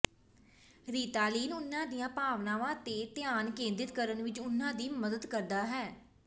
Ritalin ਉਨ੍ਹਾਂ ਦੀਆਂ ਭਾਵਨਾਵਾਂ ਤੇ ਧਿਆਨ ਕੇਂਦਰਿਤ ਕਰਨ ਵਿੱਚ ਉਹਨਾਂ ਦੀ ਮਦਦ ਕਰਦਾ ਹੈ